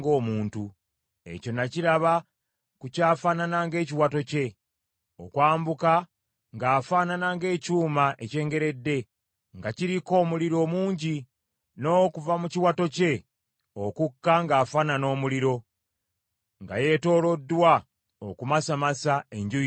Ekyo nakirabira ku kyafaanana ng’ekiwato kye, okwambuka ng’afaanana ng’ekyuma ekyengeredde, nga kiriko omuliro mungi; n’okuva mu kiwato kye okukka ng’afaanana omuliro, nga yeetooloddwa okumasamasa enjuuyi zonna.